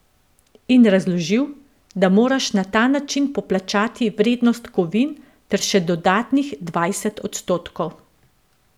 In razložil, da moraš na ta način poplačati vrednost kovin ter še dodatnih dvajset odstotkov.